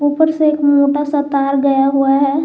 ऊपर से एक मोटा सा तार गया हुआ है।